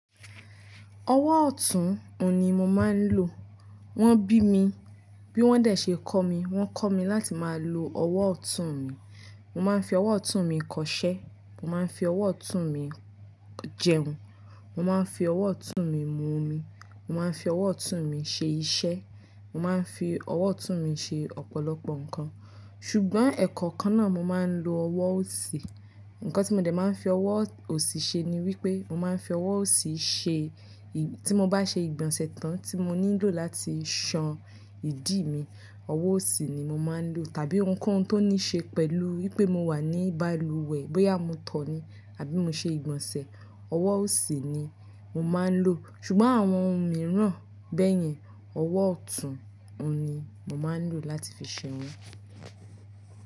Ọwọ́ ọ̀tún ni mo máa ń lò. Wọ́n bí mi, bí wọ́n dẹ̀ ṣe kọ́ mi, wọ́n kọ́ mi láti máa lo ọwọ́ ọ̀tún mi. Mo máa ń fi ọwọ́ ọ̀tún mi kọṣẹ́, mo máa ń fi ọwọ́ ọ̀tún mi jẹun, mo máa ń fi ọwọ́ ọ̀tún mi mu omi, mo máa ń fi ọwọ́ ọ̀tún mi ṣe iṣẹ́, mo máa ń fi ọwọ́ ọ̀tún mi ṣe ọ̀pọ̀lọpọ̀ nǹkan. Ṣùgbọ́n ẹ̀kọ́ kan náà mo máa ń lo ọwọ́ òsì. Ǹkan tí mo dẹ̀ máa ń fi ọwọ́ òsì ṣe ni wípé mo máa ń fi ọwọ́ òsì ṣe, tí mo bá ṣe ìgbọ̀nsẹ̀ tán tí mo nílò láti san ìdí mi, ọwọ́ òsì ni mo máa ń lò. Tàbí ohunkóhun tó ní ṣe pẹ̀lú wípé mo wà ní balùwẹ̀ bóyá mo tọ̀ ọ́ ni àbí mo ṣe ìgbọ̀nsẹ̀, ọwọ́ òsì ni mo máa ń lò. Ṣùgbọ́n àwọn ohun mìíràn bẹ́yẹn, ọwọ́ ọ̀tún ni mo máa ń lò láti fi ṣe wọ́n.